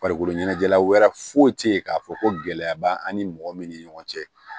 Farikolo ɲɛnajɛla wɛrɛ foyi tɛ yen k'a fɔ ko gɛlɛya b'an ni mɔgɔ min ni ɲɔgɔn cɛ